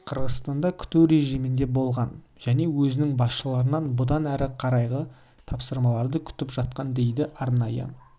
қырғызстанда күту режимінде болған және өзінің басшыларынан бұдан әрі қарайғы тапсырмаларды күтіп жатқан дейді арнайы